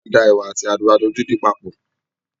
A da ẹwà àti àgbàdo dídùn papọ̀